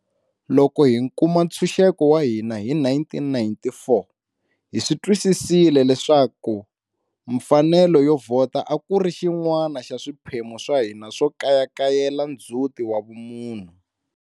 Loko hi kuma ntshuxeko wa hina hi 1994, hi swi twisisile leswaka mfanelo yo vhota a ku ri xin'wana xa swiphemu swa hina swo kayakayela ndzhuti wa vumunhu.